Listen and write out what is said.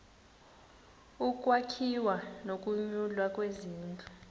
ukwakhiwa nokunyulwa kwezindlu